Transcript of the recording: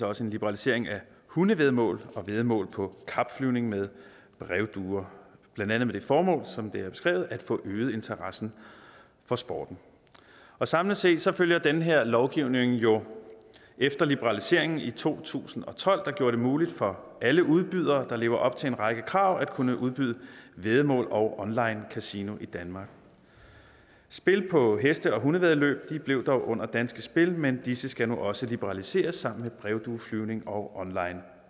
også en liberalisering af hundevæddemål og væddemål på kapflyvning med brevduer blandt andet med det formål som det er beskrevet at få øget interessen for sporten samlet set følger den her lovgivning jo efter liberaliseringen i to tusind og tolv der gjorde det muligt for alle udbydere der lever op til en række krav at kunne udbyde væddemål og online kasino i danmark spil på heste og hundevæddeløb blev dog under danske spil men disse skal nu også liberaliseres sammen med brevdueflyvning og online